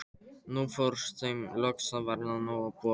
Nú fór þeim loks að verða nóg boðið.